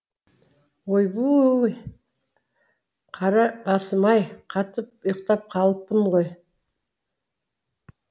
ойбүй ууу қара басым ай қатып ұйықтап қалыппын ғой